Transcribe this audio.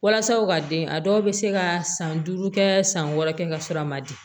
Walasa u ka den a dɔw bɛ se ka san duuru kɛ san wɔɔrɔ kɛ ka sɔrɔ a ma di